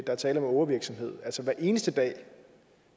er tale om ågervirksomhed altså hver eneste dag